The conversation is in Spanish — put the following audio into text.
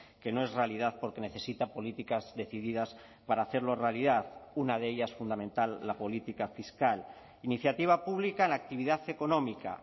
que no es realidad porque necesita políticas decididas para hacerlo realidad una de ellas fundamental la política fiscal iniciativa pública en la actividad económica